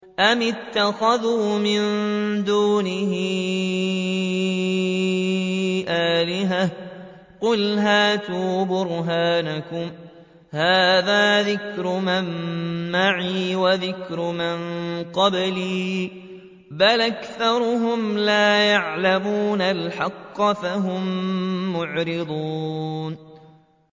أَمِ اتَّخَذُوا مِن دُونِهِ آلِهَةً ۖ قُلْ هَاتُوا بُرْهَانَكُمْ ۖ هَٰذَا ذِكْرُ مَن مَّعِيَ وَذِكْرُ مَن قَبْلِي ۗ بَلْ أَكْثَرُهُمْ لَا يَعْلَمُونَ الْحَقَّ ۖ فَهُم مُّعْرِضُونَ